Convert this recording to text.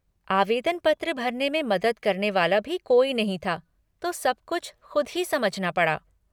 आवेदन पत्र भरने में मदद करने वाला भी कोई नहीं था तो सब कुछ ख़ुद ही समझना पड़ा।